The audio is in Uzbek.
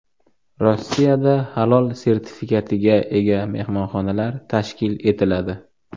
Rossiyada halol sertifikatiga ega mehmonxonalar tashkil etiladi.